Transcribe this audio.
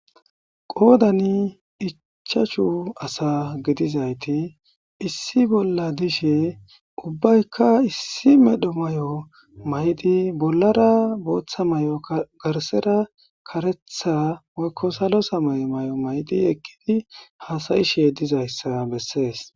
qoodan icchachu asa gidizayti issi bolla dishe ubbaykka issi medho may7o maydi bollara booththa may7o garsera karetha moykko salosa mayo may7o maydi ekkidi haasayishe dizayssa bessees